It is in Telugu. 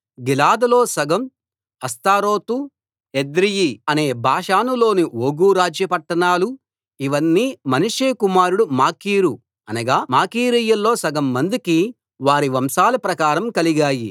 గిలాదులో సగం అష్తారోతు ఎద్రెయి అనే బాషానులోని ఓగు రాజ్య పట్టణాలు ఇవన్నీ మనష్షే కుమారుడు మాకీరు అనగా మాకీరీయుల్లో సగం మందికి వారి వంశాల ప్రకారం కలిగాయి